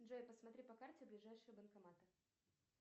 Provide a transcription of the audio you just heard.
джой посмотри по карте ближайшие банкоматы